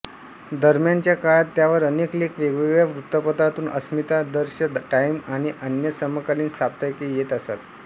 दरम्यानच्या काळात त्यावर अनेक लेख वेगवेगळ्या वृत्तपत्रांतून अस्मितादर्श टाईम आणि अन्य समकाल्रीन साप्ताहिके येत असत